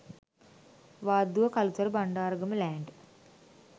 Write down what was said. wadduwa kalutara bandaragama land